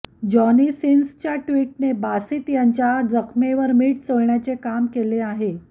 Johnny सिन्सच्या टि्वटने बासित यांच्या जखमेवर मीठ चोळण्याचे काम केले आहे